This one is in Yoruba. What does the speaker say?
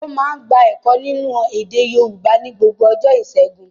Ó máa ń gba ẹ̀kọ́ nínú èdè Yorùbá ní gbogbo ọjọ́ ìṣẹ́gun.